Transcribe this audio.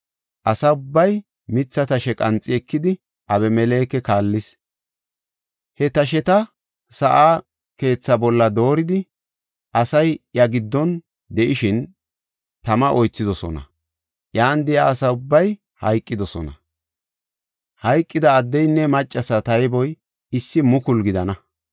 Asa ubbay mitha tashe qanxi ekidi, Abimeleke kaallis. He tasheta sa7a keethaa bolla dooridi asay iya giddon de7ishin tama oythidosona. Iyan de7iya asa ubbay hayqidosona. Hayqida addeynne maccasa tayboy issi mukulu gidana.